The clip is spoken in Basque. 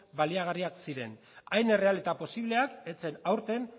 baliagarriak ziren hain erreal eta posibleak ez zen aurten